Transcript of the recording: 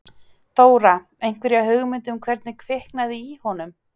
Þóra: Einhverja hugmynd um hvernig kviknaði í honum?